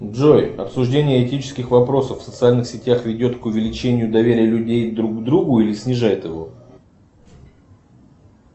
джой обсуждение этических вопросов в социальных сетях ведет к увеличению доверия людей к друг другу или снижает его